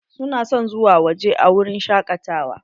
Su na son zuwa waje a wurin shakatawa.